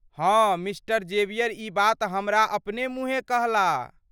हँ mister Xavier ई बात हमरा अपने मुहेँ कहला।